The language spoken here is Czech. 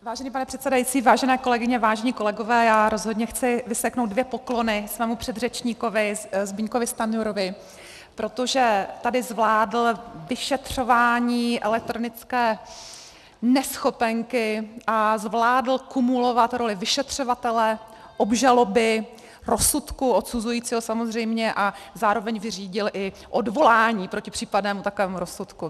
Vážený pane předsedající, vážené kolegyně, vážení kolegové, já rozhodně chci vyseknout dvě poklony svému předřečníkovi Zbyňkovi Stanjurovi, protože tady zvládl vyšetřování elektronické neschopenky a zvládl kumulovat roli vyšetřovatele, obžaloby, rozsudku odsuzujícího samozřejmě a zároveň vyřídil i odvolání proti případnému takovému rozsudku.